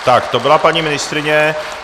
Tak to byla paní ministryně.